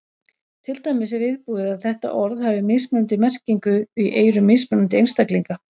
Til dæmis er viðbúið að þetta orð hafi mismunandi merkingu í eyrum mismunandi einstaklinga.